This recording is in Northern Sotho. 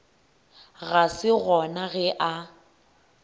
ga se gona ge a